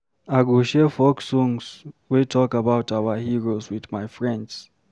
I go share folk songs wey talk about our heroes with my friends.